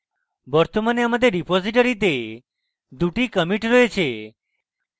বর্তমানে আমাদের রিপোসিটরীতে দুটি কমিটি রয়েছে